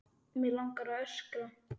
Mig langar að öskra.